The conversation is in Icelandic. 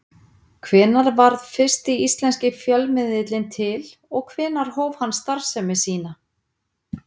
Hvenær varð fyrsti íslenski fjölmiðillinn til og hvenær hóf hann starfsemi sína?